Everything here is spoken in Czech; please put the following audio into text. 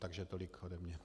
Takže tolik ode mě.